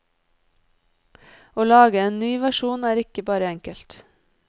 Å lage en ny versjon er ikke bare enkelt.